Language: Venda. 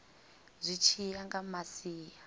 zwi tshi ya nga masia